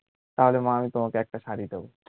তাহলে মা কে তোমাকে একটা শাড়ী দেব